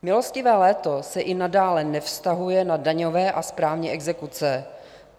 Milostivé léto se i nadále nevztahuje na daňové a správní exekuce.